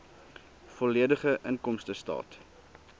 volledige inkomstestaat